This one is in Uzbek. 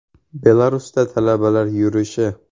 Belarusda talabalar yurishi.